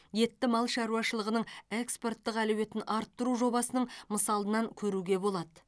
етті мал шаруашылығының экспорттық әлеуетін арттыру жобасының мысалынан көруге болады